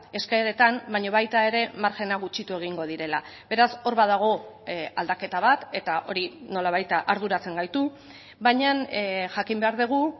eskaeretan baina baita ere margena gutxitu egingo direla beraz hor badago aldaketa bat eta hori nola baita arduratzen gaitu baina jakin behar dugu